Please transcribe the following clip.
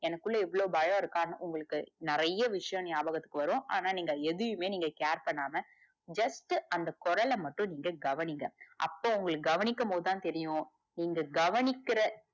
எனக்குள்ள இவ்ளோ பயம் இருக்கான்னு உங்களுக்கு நிறைய விஷயம் ஞாபகத்துக்கு வரும். ஆனா, நீங்க எதையுமே care பண்ணாம just அந்த குரல மட்டும் நீங்க கவனிங்க அப்போ உங்களுக்கு கவனிக்கு போதுதா தெரியும். நீங்க கவனிக்கற